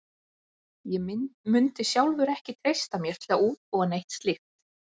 Ég mundi sjálfur ekki treysta mér til að útbúa neitt slíkt.